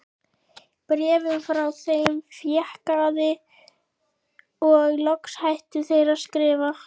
Bréfum frá þeim fækkaði og loks hættu þeir að skrifa.